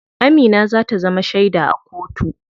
Amina za ta zama sheda a kotu.